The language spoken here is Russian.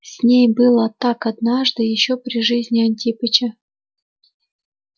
с ней было так однажды ещё при жизни антипыча